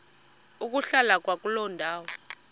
ukuhlala kwakuloo ndawo